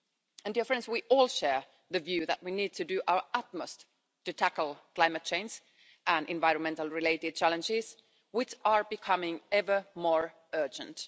And, dear friends, we all share the view that we need to do our utmost to tackle climate change and environmentally related challenges, which are becoming ever more urgent.